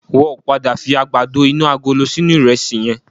Wọ́n ò pọ̀ padà fi àgbàdo inú agolo sínú ìrẹsì yẹn